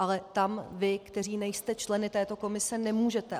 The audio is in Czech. Ale tam vy, kteří nejste členy této komise, nemůžete.